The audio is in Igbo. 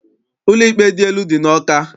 Ụlọikpe dị elu dị n'Awka.